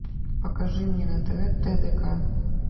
покажи мне на тв тдк